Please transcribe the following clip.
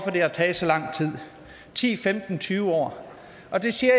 det har taget så lang tid ti femten tyve år og det siger